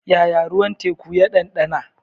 Yaya ruwan teku ya ɗanɗana?